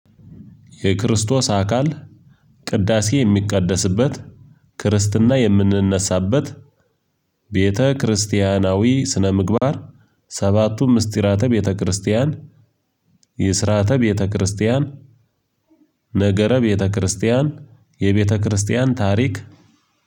የክርስቶስ አካል። ቅዳሴ የሚቀደስበት። ክርስትና የምንነሳበት። በተክርስቲያናዊ ስነምግባር። ሰባቱ ምስጢራተ ቤተክርስቲያን። የስርዓተ ቤተክርስቲያን፣። ነገረ ቤተክርስቲያን የቤተክርስቲያን ታሪክ።